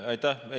Aitäh!